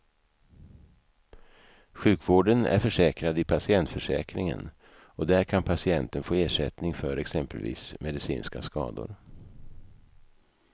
Sjukvården är försäkrad i patientförsäkringen och där kan patienten få ersättning för exempelvis medicinska skador.